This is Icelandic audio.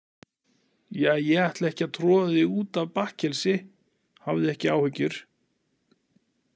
Ja, ég ætla ekki að troða þig út af bakkelsi, hafðu ekki áhyggjur.